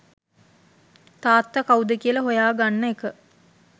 තාත්ත කවුද කියල හොයා ගන්න එක.